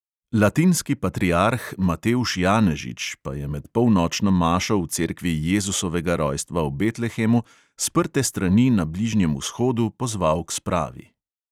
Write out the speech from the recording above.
Latinski patriarh matevž janežič pa je med polnočno mašo v cerkvi jezusovega rojstva v betlehemu sprte strani na bližnjem vzhodu pozval k spravi.